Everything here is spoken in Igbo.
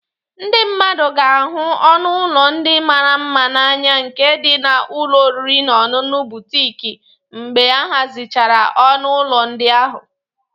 Ndị mmadụ ga-ahụ ọnụ ụlọ ndị mara mma n'anya nke dị n'ụlọ oriri na ọṅụṅụ butiik mgbe ahazichara ọnụ ụlọ ndị ahụ